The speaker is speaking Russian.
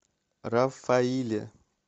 рафаиле